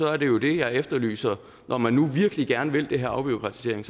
er det det jeg efterlyser når man nu virkelig gerne vil det her afbureaukratisering